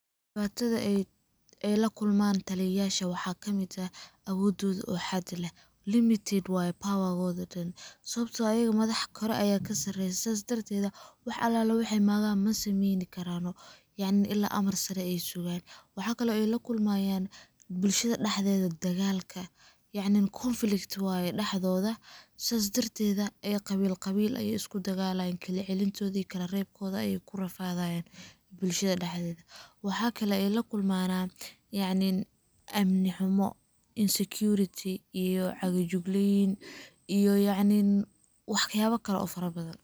Dibatada ay lakulman taliyaysha waxaa kamid eh awodhodha oo xad le limited waye pawagodha dhan sababto ah ayaga madax kale kasareysah sidas darted wax alala wax ay magan masameyn karaan , yacni ila ay amar sare ay sugan. Waxaa kale ay lakulmanayan bulshada daxdedha dagalka, yacni conflict waye daxdodha, sidas dartedha ayey qawil qawil isudagalayin, kalacelintodha iyo kalarebkodha ay kurafadayin bulshada daxdehda. Waxaa kale ay lakulmana yacni amni xumo, insecurity iyo cagajugleyn iyo yacni waxyaba kale oo fara badhan.